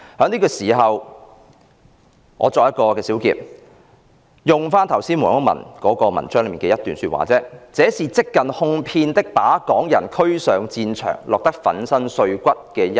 現在，我作一小結，再引用剛才所述黃毓民的文章中一段說話："這是即近哄騙的把港人推使上戰場，落得粉身碎骨方休。